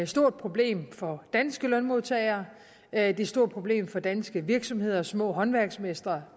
stort problem for danske lønmodtagere og er et stort problem for danske virksomheder og små håndværksmestre